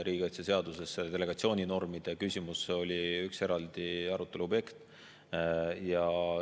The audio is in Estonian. Riigikaitseseaduses oli delegatsiooninormide küsimus üks eraldi arutelu objekt.